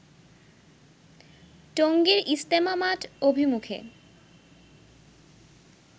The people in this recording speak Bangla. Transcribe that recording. টঙ্গীর ইজতেমা মাঠ অভিমুখে